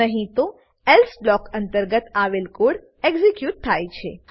નહી તો else block અંતર્ગત આવેલ કોડ એક્ઝીક્યુટ થાય છે